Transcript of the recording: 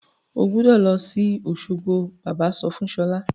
O gbúdọ̀ lọ sí Òsogbo! Bàbá sọ fún Ṣọlá.